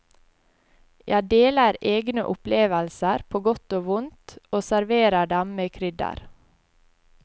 Jeg deler egne opplevelser på godt og vondt, og serverer dem med krydder.